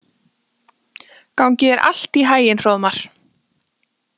Gangi þér allt í haginn, Hróðmar.